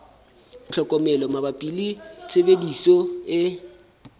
tlhokomelo mabapi le tshebediso e